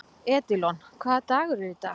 Edílon, hvaða dagur er í dag?